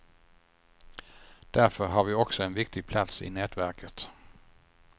Därför har vi också en viktig plats i nätverket.